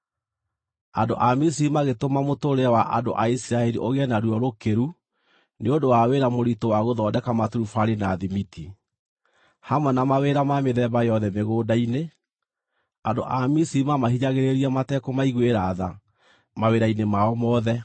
Andũ a Misiri magĩtũma mũtũũrĩre wa andũ a Isiraeli ũgĩe na ruo rũkĩru nĩ ũndũ wa wĩra mũritũ wa gũthondeka maturubarĩ na thimiti, hamwe na mawĩra ma mĩthemba yothe mĩgũnda-inĩ; andũ a Misiri maamahinyagĩrĩria matekũmaiguĩra tha mawĩra-inĩ mao mothe.